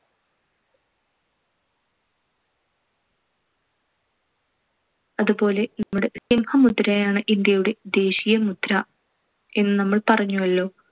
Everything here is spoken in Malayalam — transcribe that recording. അതുപോലെ നമ്മുടെ സിംഹമുദ്രയാണ് ഇന്ത്യയുടെ ദേശീയമുദ്ര എന്ന് നമ്മൾ പറഞ്ഞുവല്ലോ.